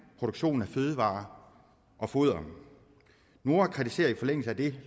produktionen af fødevarer og foder noa kritiserer i forlængelse af det